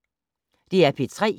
DR P3